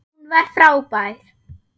Hún var frábær.